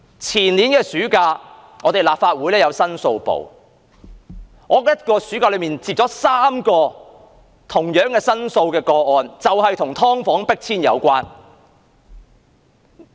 前年暑假，我從立法會公共申訴辦事處接了3宗申訴個案 ，3 宗也是與"劏房戶"被迫遷有關的。